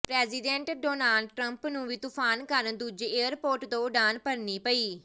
president Donald Trump ਨੂੰ ਵੀ ਤੂਫਾਨ ਕਾਰਨ ਦੂਜੇ ਏਅਰਪੋਰਟ ਤੋਂ ਉਡਾਣ ਭਰਨੀ ਪਈ